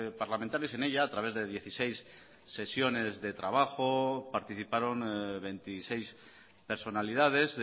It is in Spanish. parlamentarios en ella a través de dieciséis sesiones de trabajo participaron veintiséis personalidades